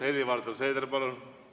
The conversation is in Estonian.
Helir-Valdor Seeder, palun!